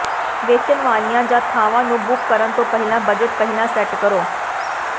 ਵੇਚਣ ਵਾਲਿਆਂ ਜਾਂ ਥਾਵਾਂ ਨੂੰ ਬੁੱਕ ਕਰਨ ਤੋਂ ਪਹਿਲਾਂ ਬਜਟ ਪਹਿਲਾਂ ਸੈਟ ਕਰੋ